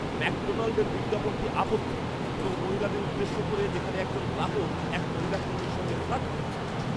ম্যাকডোনাল্ডের বিজ্ঞাপনটি আপত্তিকর এবং মহিলাদের উদ্দেশ্য করে, যেখানে একজন গ্রাহক এক মহিলা কর্মীর সঙ্গে ফ্লার্ট করছে।